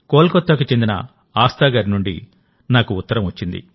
కోల్కతాకు చెందిన ఆస్థా గారి నుండి నాకు ఉత్తరం వచ్చింది